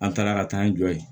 An taara ka taa an jɔ ye